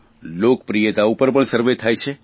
લોકપ્રિયતા ઉપર પણ સર્વે થાય છે